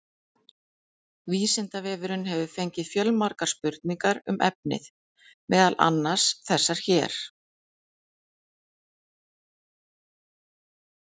Vísindavefurinn hefur fengið fjölmargar spurningar um efnið, meðal annars þessar hér: